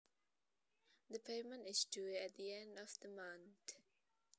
The payment is due at the end of the month